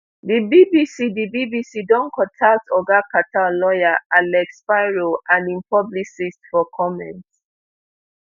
di bbc di bbc don contact oga carter lawyer alex spiro and im publicist for comment